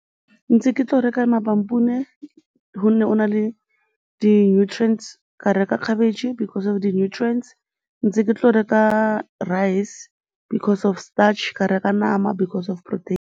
Ntse ke tlo reka ma-pampoen-e gonne go na le di-nutrients, ka reka cabbage because of di-nutrients, ntse ke tlo reka rice because of starch, ka reka nama because of protein.